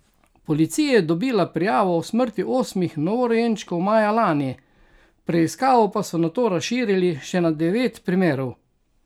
Policija je dobila prijavo o smrti osmih novorojenčkov maja lani, preiskavo pa so nato razširili še na devet primerov.